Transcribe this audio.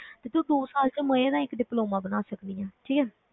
ਤੇ ਤੂੰ ਦੋ ਸਾਲ ਵਿੱਚ ਮਜ਼ੇ ਨਾਲ ਇੱਕ diploma ਬਣਾ ਸਕਦੀ ਹੈ, ਠੀਕ ਹੈ